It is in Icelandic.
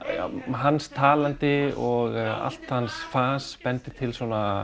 hans talandi og allt hans fas bendir til